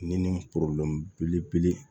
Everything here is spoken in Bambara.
Ni ni belebele